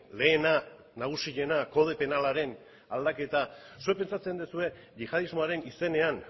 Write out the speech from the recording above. lehena nagusiena kode penalaren aldaketa zuek pentsatzen duzue yihadismoaren izenean